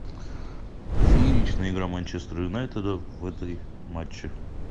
фееричная игра манчестер юнайтед в этой матче